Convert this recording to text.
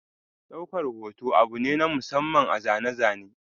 Daukar hoto abu ne na masamman a zane-zane.